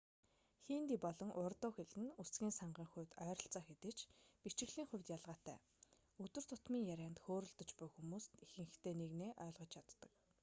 хинди болон урду хэл нь үгсийн сангийн хувьд ойролцоо хэдий ч бичиглэлийн хувьд ялгаатай өдөр тутмын ярианд хөөрөлдөж буй хүмүүс нт ихэнхдээ нэгнээ ойлгож чаддаг